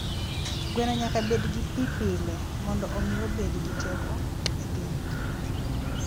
Gweno nyaka bed gi pi pile mondo omi obed gi teko e del.